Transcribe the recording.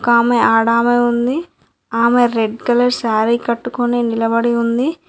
ఒకామె ఆడామే ఉంది ఆమె రెడ్ కలర్ శారీ కట్టుకొని నిలబడి ఉంది.